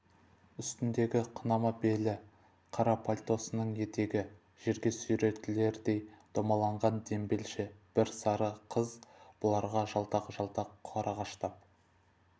үстіндегі қынама белі қара пальтосының етегі жерге сүйретілердей домаланған дембелше бір сары қыз бұларға жалтақ-жалтақ қарағыштап